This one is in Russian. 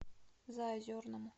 заозерному